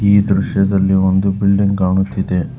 ಈ ದೃಶ್ಯದಲ್ಲಿ ಒಂದು ಬಿಲ್ಡಿಂಗ್ ಕಾಣುತ್ತಿದೆ.